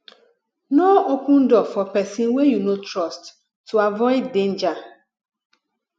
no open door for person wey you no trust to avoid danger